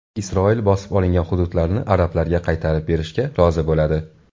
Isroil bosib olingan hududlarni arablarga qaytarib berishga rozi bo‘ladi.